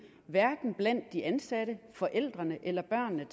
hverken blandt de ansatte forældrene eller børnene